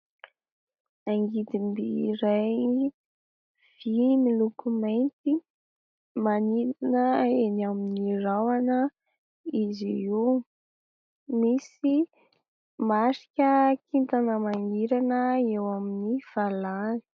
Angidimby iray vy miloko mainty manidina eny amin'ny rahona izy io, misy marika kintana mangirana eo amin'ny valahany.